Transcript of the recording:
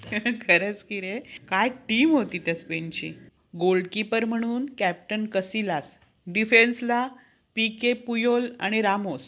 खरंच कि रे काय team होती त्या स्पेनची. goal keepar म्हणून canton कटिला. डिफेन्सला बी के पूयोल आणि रामोस.